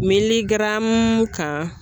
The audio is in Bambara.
kan.